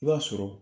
I b'a sɔrɔ